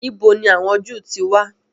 Ìbo ni àwọn Jew ti wà?